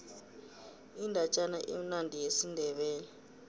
indatjana emnandi yesindebele